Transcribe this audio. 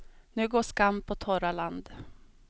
Nu går skam på torra land.